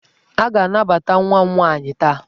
A ga-anabata nwa m nwaanyị taa!